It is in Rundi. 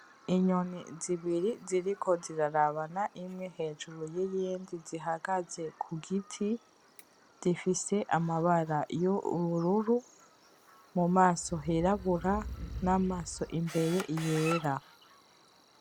Inyoni zibiri ziriko zirarabana, imye hejuru yiyindi zihagaze kugiti zifise amabara yo ubururu mumaso hirabura namaso imbere yera.